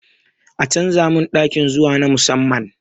A canza min ɗaki zuwa na musamman